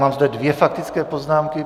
Mám zde dvě faktické poznámky.